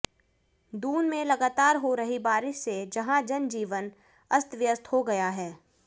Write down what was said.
दून में लगातार हो रही बारिश से जहां जन जीवन अस्त व्यस्त हो गया है